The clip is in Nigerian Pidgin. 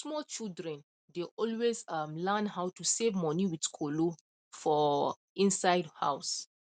small children dey always um learn how to save money with kolo for um inside house